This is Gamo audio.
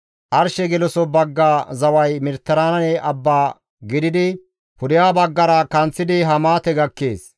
«Arshe geloso bagga zaway Mediteraane Abba gididi, pudeha baggara kanththidi Hamaate gakkees.